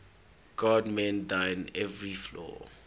god mend thine every flaw